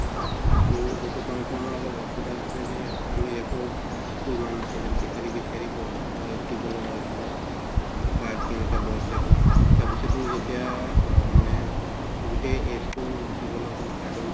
ত সেইটো কাৰণে অলপ অসুবিধা হৈছিলে যে আমি record তো ইমান নাছিলে বিচাৰি বিচাৰি প দিব লাগা হৈছিলে কাৰ কেনেকে বয়স এইটো তাৰ পিছত কিন্তু যেতিয়া আ মানে গোটেই age তোৰ দিব লাগা start হল